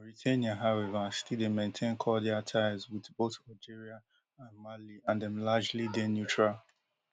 mauritania however still dey maintain cordial ties wit both algeria and mali and dem largely dey neutral